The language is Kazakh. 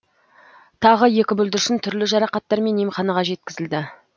тағы екі бүлдіршін түрлі жарақаттармен емханаға жеткізілді